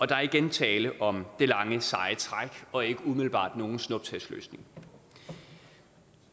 der er igen tale om det lange seje træk og ikke umiddelbart nogen snuptagsløsning